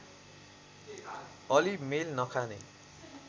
अलि मेल नखाने